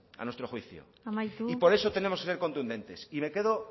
a nuestro juicio y por eso tenemos que ser contundentes y me quedo